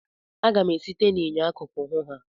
Aga m esite n'enyo akụkụ hụ ha.